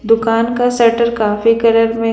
दुकान का सटर काफी कलर में--